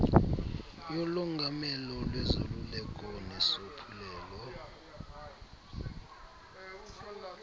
yolongamelo lwezoluleko nesophulelo